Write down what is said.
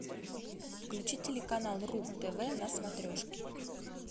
включи телеканал ру тв на смотрешке